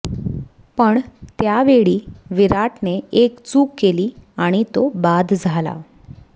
पण त्यावेळी विराटने एक चूक केली आणि तो बाद झाला